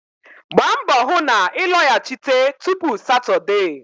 Gbaa mbọ hụ na ị lọghachite tupu Satọdee